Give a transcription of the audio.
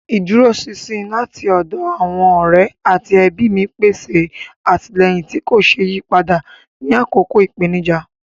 Ìdúróṣinṣin láti ọ̀dọ̀ àwọn ọ̀rẹ́ àti ẹbí mi pèsè àtìlẹ́yìn tí kò ṣeé yí padà ní àkókò ìpèníjà.